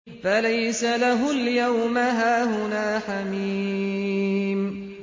فَلَيْسَ لَهُ الْيَوْمَ هَاهُنَا حَمِيمٌ